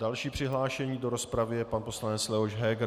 Další přihlášený do rozpravy je pan poslanec Leoš Heger.